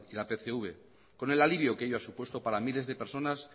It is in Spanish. la pcv con el alivio que ello ha supuesto para miles de personas